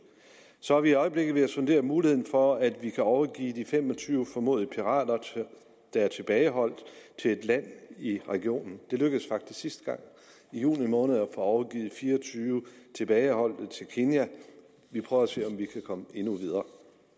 så er vi i øjeblikket ved at sondere muligheden for at overgive de fem og tyve formodede pirater der er tilbageholdt til et land i regionen det lykkedes faktisk sidste gang i juni måned at få overgivet fire og tyve tilbageholdte til kenya vi prøver at se om vi kan komme endnu videre